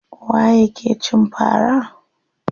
Waye ya ke cin fara?